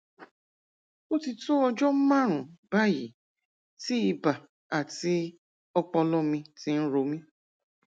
ó ti tó ọjọ márùn-ún báyìí tí ibà àti ọpọlọ mi ti ń ro mí